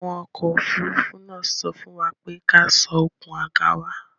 Awakọ̀ òfurufú náà sọ fún wa pé kí a sán okùn àga wa.